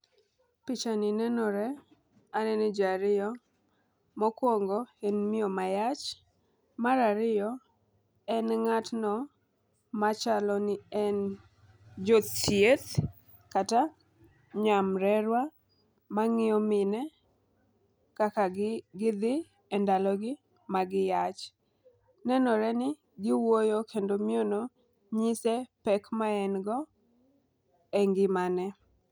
Picha ni nenore anene jii ariyo mokwongo en miyo mayach, mar ariyo en ng'atno machalo ni en jothieth kata nyamrerwa mang'iyo mine kaka gi gidhi e ndalo gi magi yach . Nenore ni giwuoyo kendo miyo no nyise pek ma en go e ngimane.